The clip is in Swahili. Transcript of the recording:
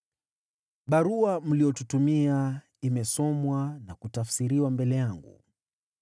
Barua mliyotutumia imesomwa na kutafsiriwa mbele yangu.